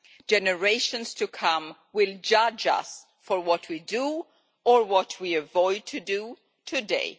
Generations to come will judge us on what we do, or what we avoid doing, today.